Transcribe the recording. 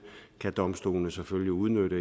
kan domstolene selvfølgelig udnytte